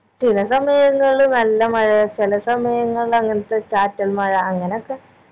ചില സമയങ്ങളിൽ നല്ല മഴ ചില സമയങ്ങളിൽ അങ്ങനത്തെ ചാറ്റൽ മഴ അങ്ങനൊക്കെ